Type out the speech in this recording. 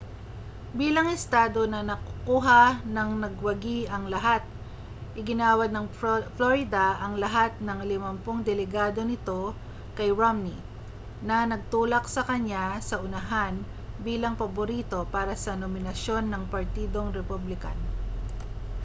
bilang estado na nakukuha-ng-nagwagi-ang-lahat iginawad ng florida ang lahat ng limampung delegado nito kay romney na nagtulak sa kaniya sa unahan bilang paborito para sa nominasyon ng partidong republican